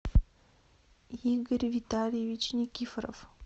игорь витальевич никифоров